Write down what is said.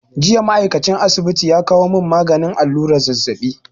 Jiya ma'aikacin asibiti ya kawo mun maganin allura zazzabi